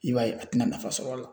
I b'a ye a tɛna nafa sɔr'a la